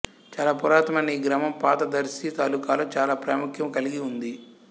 చాలా పురాతనమైన ఈ గ్రామం పాత దర్శి తాలూకాలో చాలా ప్రాముఖ్యము కలిగి ఉంది